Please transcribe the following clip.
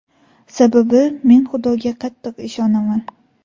Sababi, men Xudoga qattiq ishonaman.